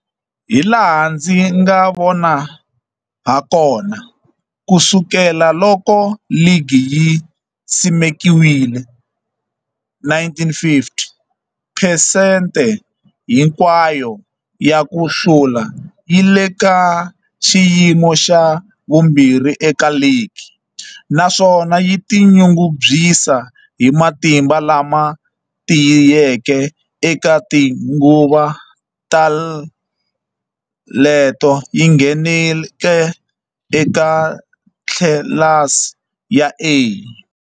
Hilaha ndzi nga vona hakona, ku sukela loko ligi yi simekiwile, 1950, phesente hinkwayo ya ku hlula yi le ka xiyimo xa vumbirhi eka ligi, naswona yi tinyungubyisa hi matimba lama tiyeke eka tinguva ta leto yi ngheneke eka tlilasi ya A.